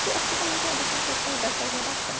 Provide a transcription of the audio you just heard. que acho que também tem a ver com as questões dessa geração.